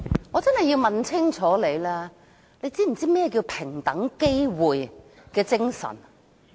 我真的要問清楚，你可知何謂平等機會精神？